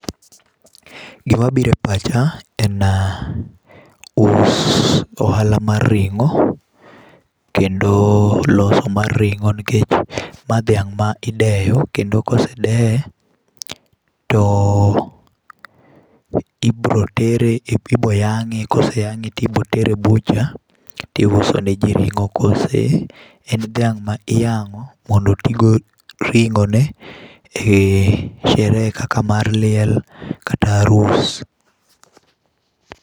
Gima biro e pacha en us, ohala mar ringó. Kendo loso mar ringó nikech ma dhiang' ma ideyo, kendo ka ose deye, to ibiro tere, ibiro yangé, kendo koseyangé to ibiro tere e butcher, tiuso ne ji ringó. Kose en dhiang' ma iyangó mondo otigo ringó ne e sherehe kaka mar liel kata arus.